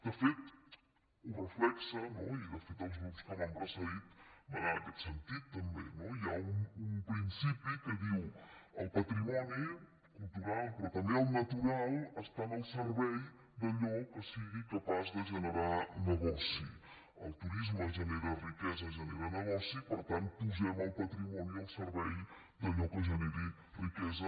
de fet ho reflecteix i de fet els grups que m’han precedit van en aquest sentit també no hi ha un principi que diu el patrimoni cultural però també el natural estan al servei d’allò que sigui capaç de generar negoci el turisme genera riquesa genera negoci i per tant posem el patrimoni al servei d’allò que generi riquesa